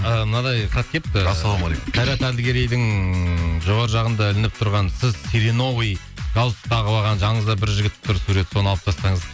і мынадай хат келіпті ассалаумағалейкум қайрат әділгерейдің жоғарғы жағында ілініп тұрған сіз сереновый галстук тағып алған жаныңызда бір жігіт тұр сурет соны алып тастаңыз